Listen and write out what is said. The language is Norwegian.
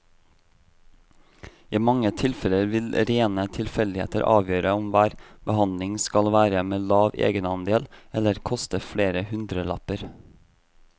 I mange tilfeller vil rene tilfeldigheter avgjøre om hver behandling skal være med lav egenandel eller koste flere hundrelapper.